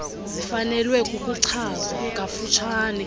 zifanelwe ukuchazwa kafutshane